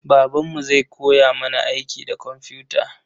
Babanmu zai koya mana aiki da komfuta.